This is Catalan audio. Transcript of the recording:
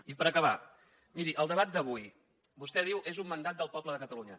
i per acabar miri el debat d’avui vostè diu és un mandat del poble de catalunya